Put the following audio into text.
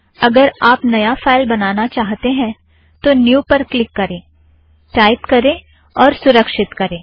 अगर आप नया फ़ाइल बनाना चाहते हैं तो न्यू न्यू पर क्लिक करें टाइप करें और सुरक्षित करें